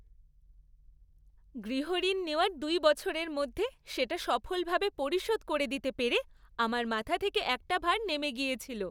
গৃহঋণ নেওয়ার দুই বছরের মধ্যে সেটা সফলভাবে পরিশোধ করে দিতে পেরে আমার মাথা থেকে একটা ভার নেমে গিয়েছিল।